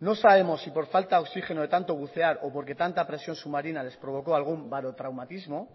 no sabemos si por falta de oxigeno de tanto bucear o porque tanta presión submarina les provocó algún barotraumatismo